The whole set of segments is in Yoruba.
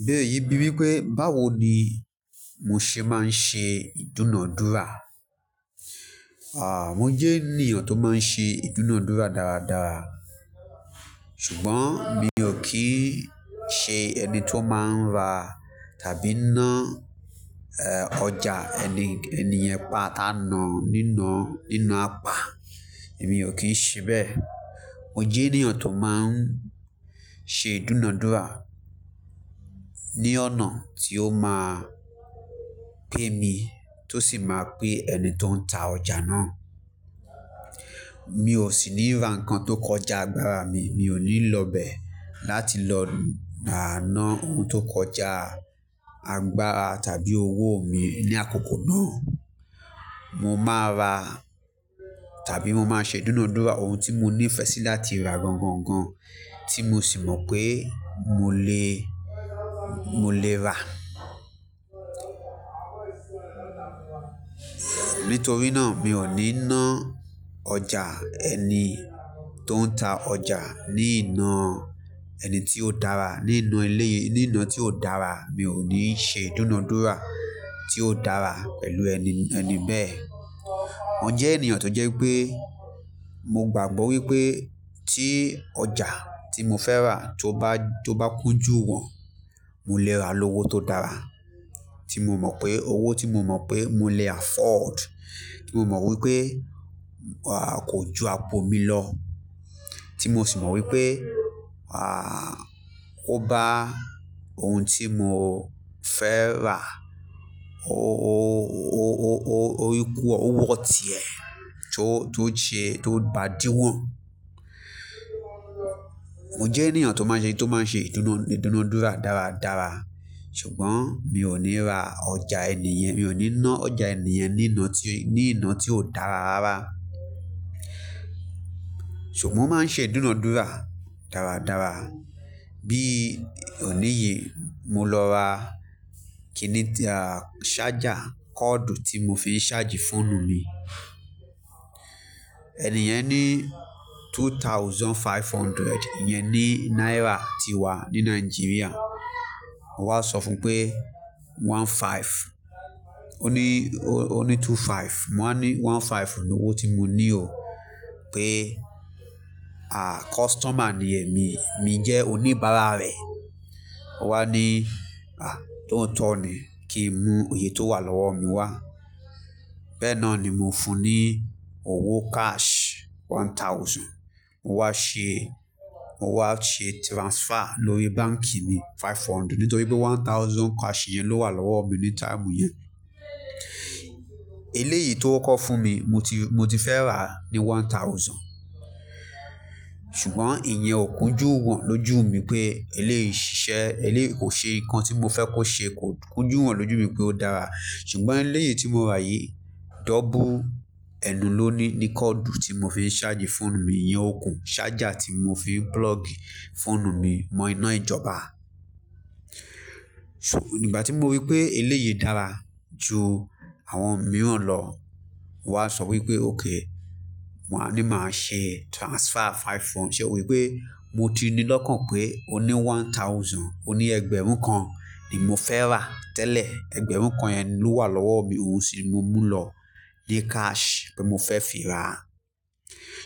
Ìbéèrè yìí bí wípé, báwo ni mo ṣe máa ń ṣe ìdúnadúrà? Aà, mo jẹ́ ènìyàn tó máa ń ṣe ìdúnadúrà dáradára. Ṣùgbọ́n mi ò kí ń ṣe ẹni tó máa ń ra tàbí ná, ọjà ẹni, ẹni yẹn pàtà náà nínà, nínú apá, èmi ò kí ń ṣe bẹ́ẹ̀. Mo jẹ́ ènìyàn tó máa ń ṣe ìdúnadúrà ní ọ̀nà tí ó máa pẹ́ mi tó sì máa pẹ́ ẹni tó ń ta ọjà náà. Mi ò sì ní ra nǹkan tó kọjá agbára mi, mi ò ní lọ bẹ̀ láti lọ ná ohun tó kọjá àgbára tàbí owó mi ní àkókò náà. Mo máa ra tàbí mo máa ṣe ìdúnadúrà ohun tí mo ní ìfẹ́ sí láti ra gangangan tí mo sì mọ̀ pé mo lè, mo lè rà. Nítorí náà, mi ò ní ná ọjà ẹni tó ń ta ọjà ní iná ẹni tí ó dára, ní inú ilé, ní iná tí ò dára. Mi ò ní ṣe ìdúnadúrà tí ó dára pẹ̀lú ẹni, ẹni bẹ́ẹ̀. Mo jẹ́ ènìyàn tó jẹ́ pé mo gbàgbọ́ wípé tí ọjà tí mo fẹ́ rà tó bá, tó bá kúnjú wọ̀n, mo lè rà lówo tó dára. Tí mo mọ̀ pé owó tí mo mọ̀ pé mo lè afford, tí mo mọ̀ wípé, à, kò ju ago mi lọ. Tí mo sì mọ̀ wípé, ó bá ohun tí mo fẹ́ rà ó, ó, ó, ó, ó equal, ó wọ̀ tiẹ̀ tó, tó ṣe, tó bá dí wọ̀n. Mo jẹ́ ènìyàn tó máa n ṣe, tó máa ṣe ìdúnadúrà dáradára. Ṣùgbọ́n mi ò ní ra ọjà ẹni yẹn, mi ò ní ná ọjà ẹni yẹn ní iná tí, ní iná tí ò dára rárá. Ṣùgbọ́n mo máa ń ṣe ìdúnadúrà dáradára. Bí òní yìí, mo lọ ra kìnìà, ṣájà, kọ́ọ̀dù tí mo fi ń ṣáàjì fóònù mi. Ẹni yẹn ní two thousand five hundred. Ìyẹn ni náírà ti wà ní Nigeria. Mo wá sọ fún pé one five. Ó ní, ó ní two five. Mo wá ní one five ni owó tí mo ní o. Pé, customer ni èmi, mi jẹ́ oníbàárà rẹ̀. Ó wá ní, à, tó o tọ̀ ni. Kí n mú òye tó wà lọ́wọ́ mi wá. Bẹ́ẹ̀ náà ni mo fún un ní owó cash one thousand. Mo wá ṣe, mo wá ṣe transfer lórí báǹkì mi five hundred nítorí pé one thousand cash yẹn ló wà lọ́wọ́ mi ní táìmù yẹn. Eléyìí tó kọ́ fún mi mo ti, mo ti fẹ́ rà ní one thousand. Ṣùgbọ́n ìyẹn ò kúnjú wọ̀n lójú mi pé eléyìí ṣiṣẹ́, eléyìí kò ṣe nǹkan tí mo fẹ́ kó ṣe. Kò kúnjú wọ̀n lójú mi pé ó dára. Ṣùgbọ́n eléyìí tí mo rà yìí, double ẹnu ló ní ní kọ́ọ̀dù tí mo fi ń ṣáàjì fóònù mi. Ìyẹn ò kún. Ṣájà tí mo fi ń plug fóònù mi mọ ina ìjọba. Ṣó, ìgbà tí mo rí pé eléyìí dára ju àwọn mìíràn lọ, mo wá sọ wípé, okay. Mo wá ní, màá ṣe transfer five hundred. Ómo wí pé, mo ti ní lọ́kàn pé o ní one thousand. Ó ní ẹgbẹ̀rún kan ni mo fẹ́ rà tẹ́lẹ̀. Ẹgbẹ̀rún kan yẹn ló wà lọ́wọ́ mi. Owó sì ni mo mú lọ ní cash pé mo fẹ́ fi rà.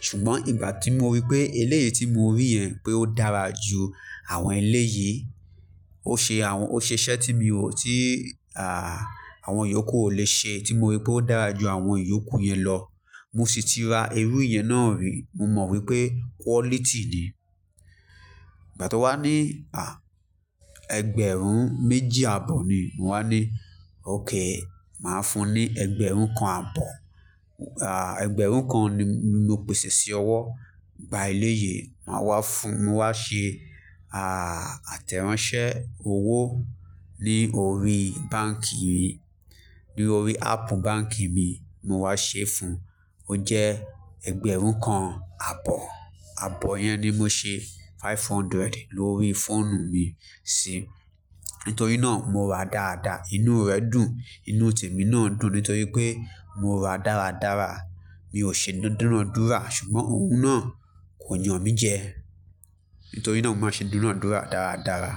Ṣùgbọ́n ìgbà tí mo rí pé eléyìí tí mo rí yẹn pé ó dára ju àwọn eléyìí, ó ṣe àwọn, ó ṣe iṣẹ́ tí mi ò, tí, à, àwọn ìyókù ò lè ṣe, tí mo rí pé ó dára ju àwọn ìyókù yẹn lọ. Mo sì ti ra irú yẹn náà rí. Mo mọ̀ wípé quality ni. Ìgbà tó wá ní, à, ẹgbẹ̀rún méjì àbọ̀ ni. Mo wá ní, okay, màá fún ẹ ẹgbẹ̀rún kan àbọ̀. Ẹgbẹ̀rún kan ni mo pèsè sí ọ wọ́. Ìgbà eléyìí, màá wá fún, mo wá ṣe, à, àtẹ̀ránsẹ́ owó lórí báǹkì mi. Lórí áàpù báǹkì mi, mo wá ṣe fún un. Ó jẹ́ ẹgbẹ̀rún kan àbọ̀. Àbọ̀ yẹn ni mo ṣe five hundred lórí fóònù mi sí. Nítorí náà mo rà dáadáa. Inú rẹ̀ dùn, inú tèmi náà dùn. Nítorí pé mo rà dáradára. Mi ò ṣe ìdúnadúrà. Ṣùgbọ́n òun náà kò yàn mí jẹ. Nítorí náà mo máa ṣe ìdúnadúrà dáradára.